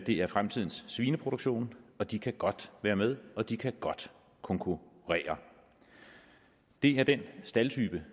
det er fremtidens svineproduktion og de kan godt være med og de kan godt konkurrere det er den staldtype